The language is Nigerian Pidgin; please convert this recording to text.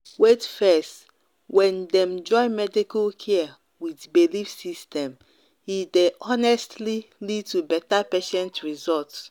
wait fess when dem join medical care with belief system e dey honestly lead to better patient result.